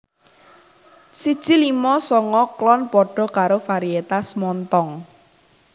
D siji limo songo klon padha karo varietas Montong